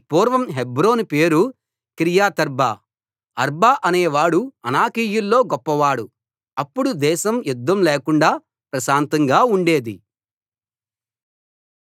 పూర్వం హెబ్రోను పేరు కిర్యతర్బా అర్బా అనేవాడు అనాకీయుల్లో గొప్పవాడు అప్పుడు దేశం యుద్ధం లేకుండా ప్రశాంతంగా ఉండేది